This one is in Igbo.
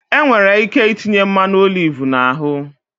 Enwere ike itinye mmanụ oliv na ahụ